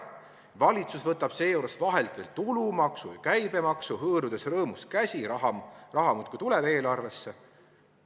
Valitsus võtab seejuures vahelt veel tulumaksu, käibemaksu, hõõrudes rõõmust käsi – raha muudkui tuleb eelarvesse.